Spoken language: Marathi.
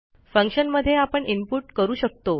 फंक्शनमधे आपण इनपुट करू शकतो